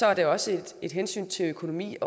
er der også hensynet til økonomien